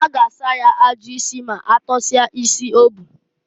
A ga asa ya ajụ isi m'atọsịa isi o bu.